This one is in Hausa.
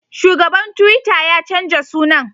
Shugaban tuwita ya canja sunan